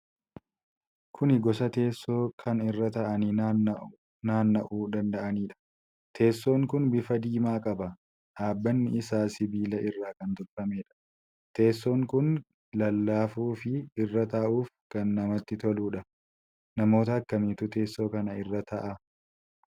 Kuni Gosa teessoo keessaa kan irra taa'anii naanna'uu danda'anidha. Teessoon kun bifa diimaa qaba. Dhaabbanni isaa sibiila irraa kan tolfameedha. Teessoon kun kan lallaafu fi irra taa'uuf kan namatti toluudha. Namoota akkamiitu teessoo kan irra taa'a?